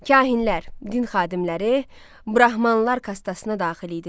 Kahinlər, din xadimləri, Brahmanlar kastasına daxil idilər.